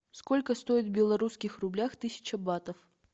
сколько стоит в белорусских рублях тысяча батов